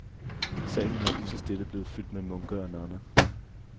Salen er lige så stille blevet fyldt med munke og nonner.